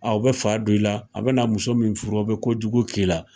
Aa o bɛ fa don i la, a be na muso min furu o be ko jugu k'i la.